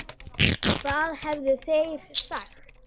Hvað hefðu þeir sagt?